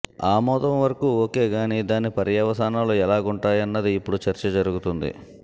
ఆమోదం వరకు ఒకే గానీ దాని పర్యవసాలు ఎలాగుంటాయన్నది ఇప్పుడు చర్చ జరుగుతోంది